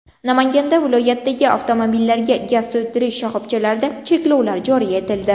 Namangan viloyatidagi avtomobillarga gaz to‘ldirish shoxobchalarida cheklovlar joriy etildi.